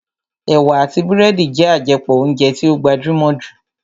Ẹ̀wà àti búrẹ́dì jẹ́ àjẹpọ̀ óúnjẹ tí ó gbajúmọ̀ jù